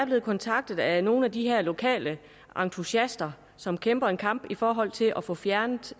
blevet kontaktet af nogle af de her lokale entusiaster som kæmper en kamp i forhold til at få fjernet